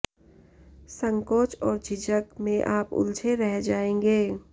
संकोच और झिझक में आप उलझे रह जाएंगे